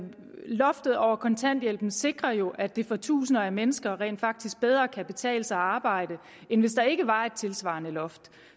loftet over kontanthjælpen sikrer jo at det for tusinder af mennesker rent faktisk bedre kan betale sig at arbejde end hvis der ikke var et tilsvarende loft